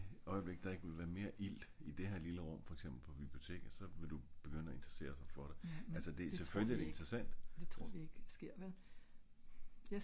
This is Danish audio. i det øjeblik der er ikke vil være mere ilt i det her lille rum for eksempel på biblioteket så vil du begynde at interesserer sig for det? selvfølgelig er det interessant